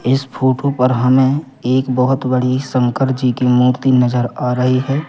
इस फोठो पर हमें एक बहोत बड़ी शंकर जी की मूर्ति नजर आ रही है।